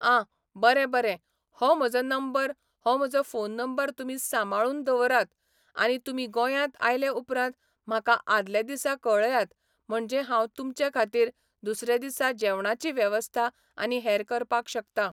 आं बरें बरें हो म्हजो नंबर हो म्हजो फोन नंबर तुमी सांबाळून दवरात आनी तुमी गोंयांत आयलें उपरांत म्हाका आदले दीसा कळयात म्हणजे हांव तुमचे खातीर दुसरें दिसा जेवणाची वेवस्था आनी हेर करपाक शकता